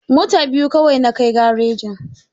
Mota biyu kawai na kai garejin.